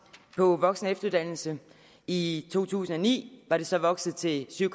på voksen og efteruddannelse i to tusind og ni var det så vokset til syv